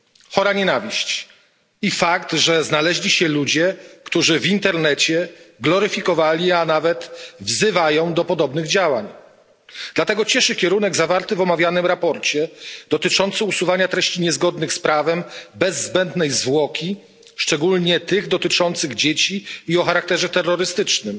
Chora nienawiść i fakt, że znaleźli się ludzie, którzy w internecie gloryfikowali, a nawet wzywają do podobnych działań. Dlatego cieszy kierunek zawarty w omawianym sprawozdaniu, dotyczący usuwania treści niezgodnych z prawem bez zbędnej zwłoki, szczególnie tych dotyczących dzieci i o charakterze terrorystycznym.